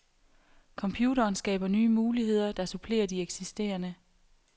Computeren skaber nye muligheder, der supplerer de eksisterende.